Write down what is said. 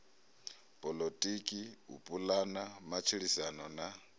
poḽotiki u pulana matshilisano na